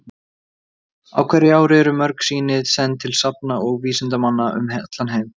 Á hverju ári eru mörg sýni send til safna og vísindamanna um heim allan.